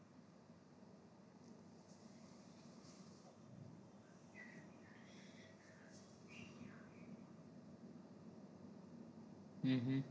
હમ હા